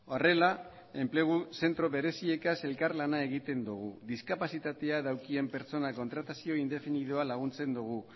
horrela enplegu zentro bereziekaz elkarlana egiten dugu diskapazitatea daukaten pertsonak kontratazio indefinidoa laguntzen dugu